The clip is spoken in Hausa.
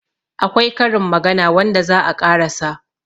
akwai Karin magana wanda za a ƙarasa